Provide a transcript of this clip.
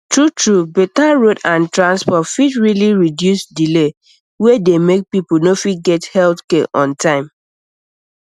truetrue better road and transport fit really reduce delay wey dey make people no fit get health care on time